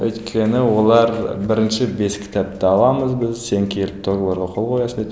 өйткені олар бірінші бес кітапты аламыз біз сен келіп договорға қол қоясың дейді